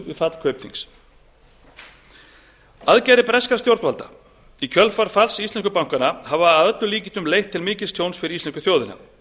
fall kaupþings aðgerðir breskra stjórnvalda í kjölfar falls íslensku bankanna hafa að öllum líkindum leitt til mikils tjóns fyrir íslensku þjóðina